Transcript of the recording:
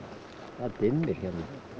það dimmir hérna